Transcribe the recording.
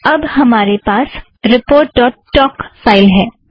अब हमारे पास रिपोर्ट ड़ॉट टोक फ़ाइल है